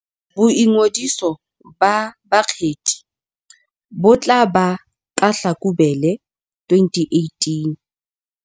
Boingodiso ba bakgethi bo tla ba ka Hlakubele 2018.